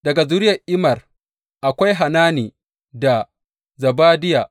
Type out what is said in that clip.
Daga zuriyar Immer, akwai Hanani da Zebadiya.